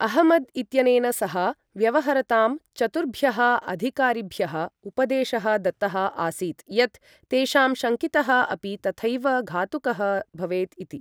अहमद् इत्यनेन सह व्यवहरतां चतुर्भ्यः अधिकारिभ्यः उपदेशः दत्तः आसीत् यत् तेषां शङ्कितः अपि तथैव घातुकः भवेत् इति।